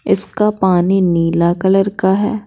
इसका पानी नीला कलर का है।